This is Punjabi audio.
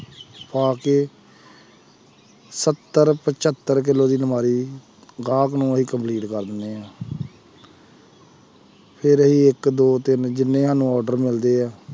ਪਾ ਕੇ ਸੱਤਰ ਪਜੱਰ ਕਿੱਲੋ ਦੀ ਅਲਮਾਰੀ ਗਾਹਕ ਨੂੰ ਅਸੀਂ complete ਕਰ ਦਿੰਦੇ ਹਾਂ ਫਿਰ ਅਸੀਂ ਇੱਕ ਦੋ ਤਿੰਨ ਜਿੰਨੇ ਸਾਨੂੰ order ਮਿਲਦੇ ਹੈ,